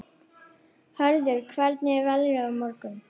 Hörður, hvernig er veðrið á morgun?